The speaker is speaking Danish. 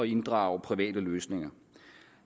inddrage private løsninger